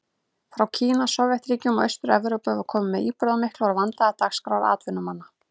Frá Kína, Sovétríkjunum og Austur-Evrópu var komið með íburðarmiklar og vandaðar dagskrár atvinnumanna.